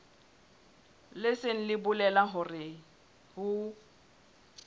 leng se bolelang hore ho